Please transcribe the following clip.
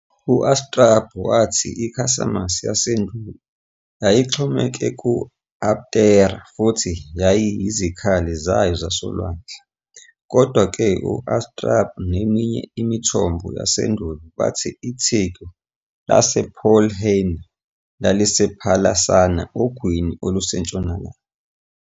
UStrabo wathi iCisamus yasendulo yayixhomeke ku- Aptera futhi yayiyizikhali zayo zasolwandle. Kodwa-ke, uStrabo neminye imithombo yasendulo bathi itheku lasePolyrrhenia lalisePhalasarna ogwini olusentshonalanga.